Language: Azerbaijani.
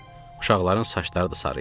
Uşaqların saçları da sarı idi.